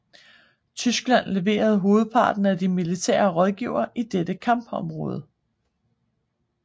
Tyskland leverede hovedparten af de militære rådgivere i dette kampområde